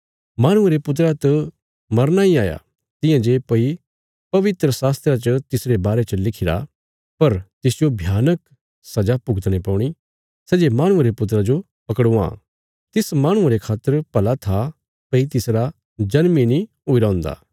माहणुये रे पुत्रा त मरना इ हाया तियां जे भई पवित्र शास्त्रा च तिसरे बारे च लिखिरा पर तिसजो भयानक सजा भुगतणे पौणी सै जे माहणुये रे पुत्रा जो पकड़वां तिस माहणुये रे खातर भला था भई तिसरा जन्म इ नीं हुईरा हुन्दा